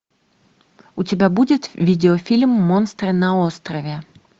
у тебя будет видеофильм монстры на острове